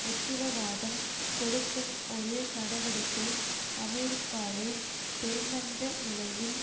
உத்திரவாதம் கொடுக்கும் ஒரு நடவடிக்கை அமெரிக்காவை பெருமந்த நிலையில்